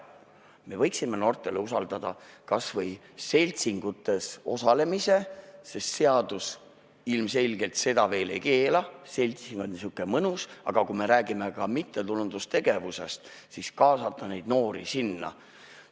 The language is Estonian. Me võiksime noortele usaldada kas või seltsingutes osalemise, sest seadus ilmselgelt seda veel ei keela, seltsimine on niisukene mõnus asi, aga kui me räägime mittetulundustegevusest, siis võiks kaasata noori ka sinna.